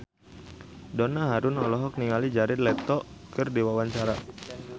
Donna Harun olohok ningali Jared Leto keur diwawancara